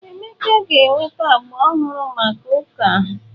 Emeka ga-enweta agba ọhụrụ maka ụka.